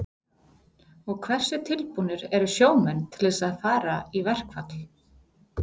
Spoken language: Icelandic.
Og hversu tilbúnir eru sjómenn til þess að fara í verkfall?